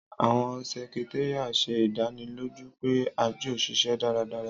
Àwọn sẹkitaria ṣe idaniloju pe àjọ n ṣiṣẹ daradara.